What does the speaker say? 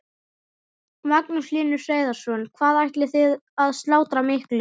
Magnús Hlynur Hreiðarsson: Hvað ætlið þið að slátra miklu?